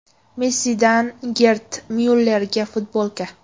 Messidan Gerd Myullerga futbolka.